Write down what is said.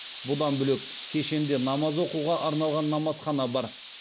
бұдан бөлек кешенде намаз оқуға арналған намазхана да бар